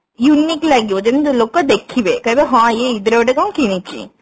unique ଲାଗିବ ଯେମତି ଲୋକ ଦେଖିବେ କହିବେ ହଁ ଇଏ ଇଦ ରେ କଣ ଗୋଟେ କିଣିଛି